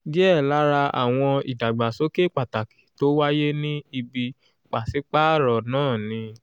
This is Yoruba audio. díẹ̀ lára àwọn ìdàgbàsókè pàtàkì tó wáyé ní ibi pàṣípààrọ̀ náà ni: